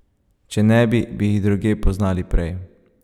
Če ne bi, bi jih drugje poznali prej.